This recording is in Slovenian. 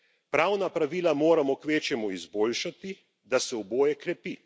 Pravna pravila moramo kvečjemu izboljšati, da se oboje krepi.